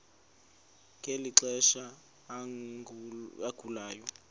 ngeli xesha agulayo